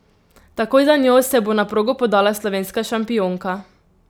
Takoj za njo se bo na progo podala slovenska šampionka.